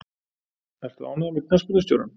Ertu ánægður með knattspyrnustjórann?